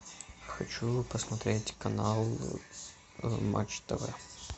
хочу посмотреть канал матч тв